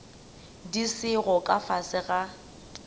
di sego ka fase ga